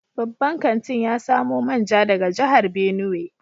Babban kantin ya samo manja daga jihar Benue.